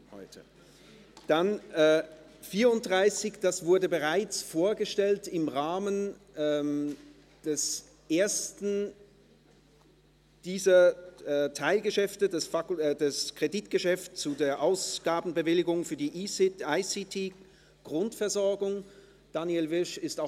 Das Traktandum 34 wurde bereits im Rahmen des ersten dieser drei Geschäfte, des Kreditgeschäfts und der Ausgabenbewilligung für die ICT-Grundversorgung, durch Daniel Wyrsch vorgestellt.